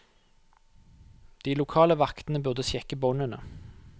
De lokale vaktene burde sjekke båndene.